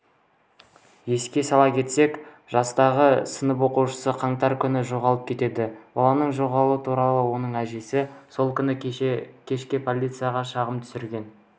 еске сала кетсек жастағы сынып оқушысы қаңтар күні жоғалып кетеді баланың жоғалғаны туралы оның әжесі сол күні кешке полицияға шағым түсірген